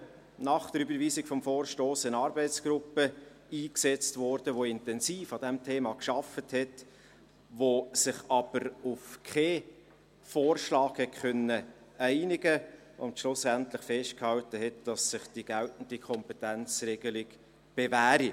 Nach der Überweisung des Vorstosses wurde eine Arbeitsgruppe eingesetzt, die intensiv an diesem Thema arbeitete, die sich jedoch auf keinen Vorschlag einigen konnte und schlussendlich festhielt, dass sich die geltende Kompetenzregelung bewährt hat.